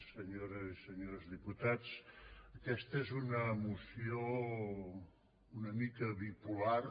senyores i senyors diputats aquesta és una moció una mica bipolar